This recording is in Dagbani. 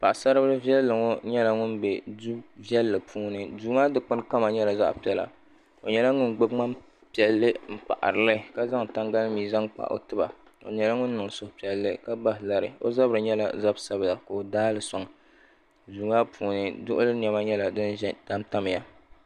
paɣisaribili viɛli ŋɔ nyɛ ŋɔ bɛ do puuni do maa dokpani kama nyɛla zaɣ piɛla o nyɛla ŋɔ gbabi tani piɛli ka zaŋ tanihali mi kpa o tɛba o nyɛla ŋɔ niŋ sohi piɛli o zabiri nyɛla zabisabila ka o daali soŋ doo maa puuni doɣoli nɛma nyɛla din tamitamiya